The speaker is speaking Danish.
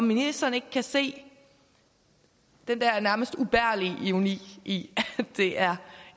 ministeren ikke kan se den der nærmest ubærlige ironi i at det er